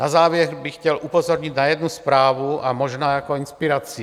Na závěr bych chtěl upozornit na jednu zprávu a možná jako inspiraci.